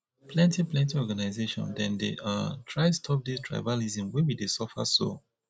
plenty plenty organisation dem dey um try stop dis tribalism wey we dey suffer so